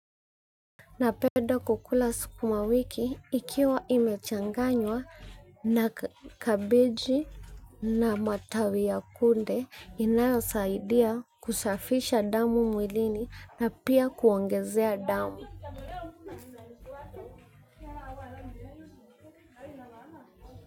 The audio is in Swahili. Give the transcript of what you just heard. Napenda kukula sukuma wiki ikiwa imechanganywa na kabeji na matawi ya kunde inayosaidia kusafisha damu mwilini na pia kuongezea damu.